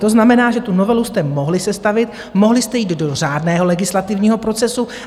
To znamená, že tu novelu jste mohli sestavit, mohli jste jít do řádného legislativního procesu.